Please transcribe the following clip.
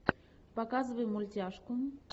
показывай мультяшку